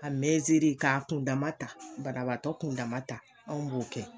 A k'a kundama ta banabagatɔ kundama ta anw b'o kɛ.